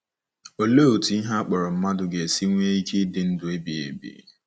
Olee otú ihe a kpọrọ mmadụ ga-esi nwee ike ịdị ndụ ebighị ebi?